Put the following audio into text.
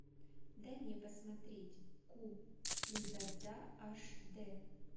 дай мне посмотреть ку кин дза дза аш дэ